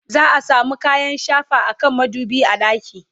za'a samu kayan shafa akan madubi a ɗaki